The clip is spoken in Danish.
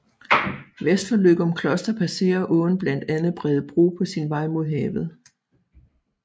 Vest for Løgumkloster passerer åen blandt andet Bredebro på sin vej mod havet